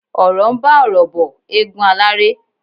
Ọ̀RỌ̀ ń bá ọ̀rọ̀ bọ̀, égún aláré.